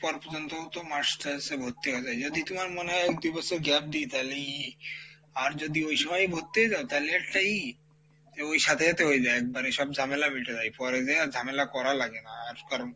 পর পর্যন্তও তো masters এ ভর্তি হওয়া যাই যদি তুমার মনে হয় এক দু বছর gap দি তালি আর যদি ওই সময়ই ভর্তি হয়ে যাও তালে একটা ই তালে ওই সাথে সাথে হয়ে যাই একবারে সব ঝামেলা মিটে যাই পরে যেয়ে আর ঝামেলা করা লাগে না আর কারণ,